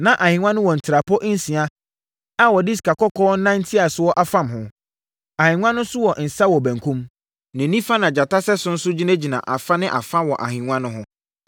Na ahennwa no wɔ ntrapoe nsia a wɔde sikakɔkɔɔ nantiasoɔ afam ho. Ahennwa no wɔ nsa wɔ benkum. Ne nifa na gyata sɛso nso gyinagyina afa ne fa wɔ ahennwa no ho.